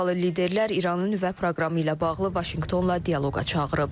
Avropalı liderlər İranın nüvə proqramı ilə bağlı Vaşinqtonla dialoqa çağırıb.